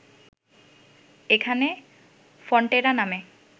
এখানে ফন্টেরা নামে